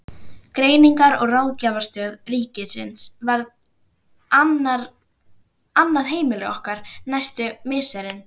Greiningar- og ráðgjafarstöð ríkisins varð annað heimili okkar næstu misserin.